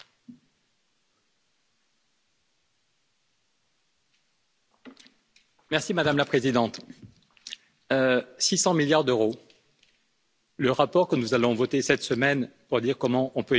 Madame la Présidente, 600 milliards d'euros, le rapport que nous allons voter cette semaine pour dire comment on peut éviter le chaos climatique et social affirme qu'il faut chaque année 600 milliards d'investissements en plus.